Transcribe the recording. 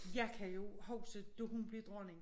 Jeg kan jo huske da hun blev dronning